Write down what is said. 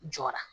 Jɔra